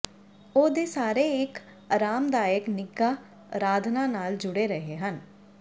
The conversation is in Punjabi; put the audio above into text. ਉਹ ਦੇ ਸਾਰੇ ਇੱਕ ਆਰਾਮਦਾਇਕ ਨਿੱਘਾ ਅਰਾਧਨਾ ਨਾਲ ਜੁੜੇ ਰਹੇ ਹਨ